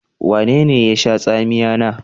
Wanene ye sha tsamiya na?